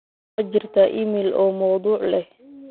ma jirtaa iimayl oo mawduuc leh